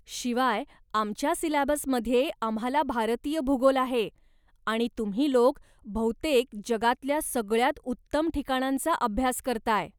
शिवाय आमच्या सिलॅबसमध्ये आम्हाला भारतीय भूगोल आहे आणि तुम्ही लोक बहुतेक जगातल्या सगळ्यांत उत्तम ठिकाणांचा अभ्यास करताय!